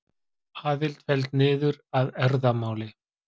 Aðild felld niður að erfðamáli